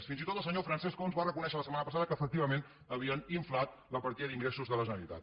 fins i tot el senyor francesc homs va reconèixer la setmana passada que efectivament havien inflat la partida d’ingressos de la generalitat